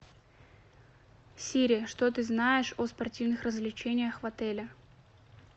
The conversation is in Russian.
сири что ты знаешь о спортивных развлечениях в отеле